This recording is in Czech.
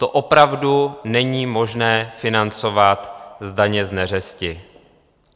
To opravdu není možné financovat z daně z neřesti.